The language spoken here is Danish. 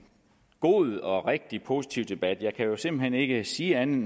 god og rigtig positiv debat jeg kan jo simpelt hen ikke sige andet